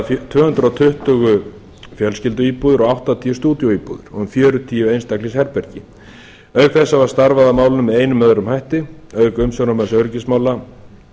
er um að ræða tvö hundruð fjölskylduíbúðir og áttatíu stúdíóíbúðir með fjörutíu einstaklingsherbergi auk þess hafa starfað að málum með einum eða öðrum hætti auk umsjónarmanns öryggismála